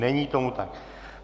Není tomu tak.